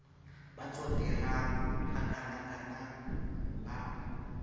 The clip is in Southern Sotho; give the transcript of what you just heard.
bo tsotehang hakanakana na ha